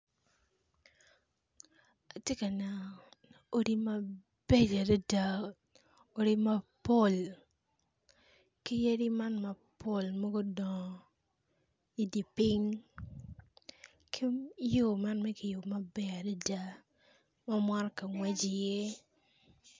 Atye ka neno ot mabeco adada odi mapol ki yadi man mudongo mapol i di piny ki yo man ma kiyubo maber ma motoka ngweco iye